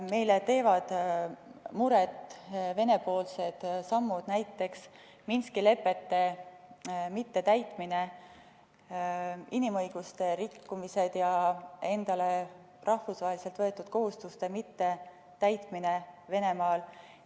Meile teevad muret Venemaa sammud, näiteks Minski lepete mittetäitmine, inimõiguste rikkumised ja endale rahvusvaheliselt võetud kohustuste mittetäitmine Venemaal.